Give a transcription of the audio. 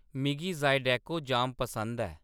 मिगी ज़ीडेको जाम पसंद ऐ